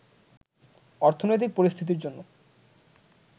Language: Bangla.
অর্থনৈতিক পরিস্থিতির জন্য